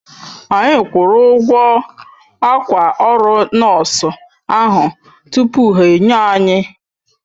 Anyi kwuru ụgwọ akwa ọrụ nọọsụ ahụ tupu ha enye anyi